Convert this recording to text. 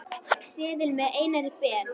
seðil með Einari Ben.